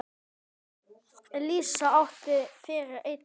Elísa átti fyrir einn son.